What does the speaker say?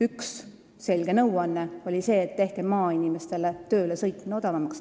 Üks selge nõuanne oli see, et tehke maainimestele töölesõitmine odavamaks.